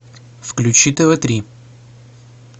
включи тв три